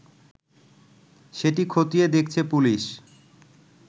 সেটি খতিয়ে দেখছে পুলিশ